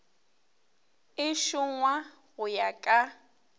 e šongwa go ya ka